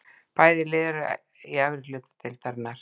Bæði lið eru í efri hluta deildarinnar.